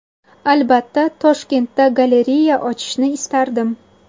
Albatta, Toshkentda galereya ochishni istardim.